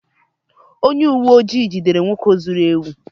onye uwe ojii jidere nwoke zuru ewu